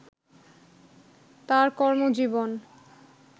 তার কর্মজীবন